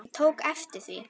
Ég tók eftir því.